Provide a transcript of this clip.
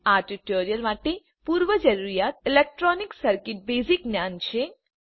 આ ટ્યુટોરીયલ માટે પૂર્વજરૂરિયાત ઇલેક્ટ્રોનિક સર્કિટનું બેઝીક જ્ઞાન છે